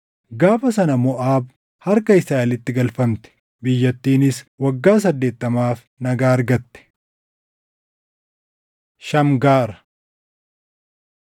Gaafa sana Moʼaab harka Israaʼelitti galfamte; biyyattiinis waggaa saddeettamaaf nagaa argatte. Shamgaar